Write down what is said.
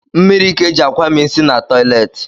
Mmiri ka e ji akwami nsi na toleti